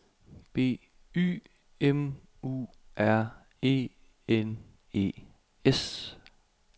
B Y M U R E N E S